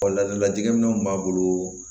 ladilikan min b'a bolo